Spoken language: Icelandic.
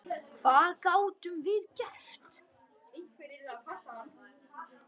Hvað gátum við gert?